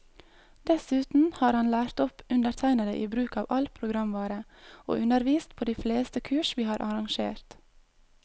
Dessuten har han lært opp undertegnede i bruk av all programvare, og undervist på de fleste kurs vi har arrangert.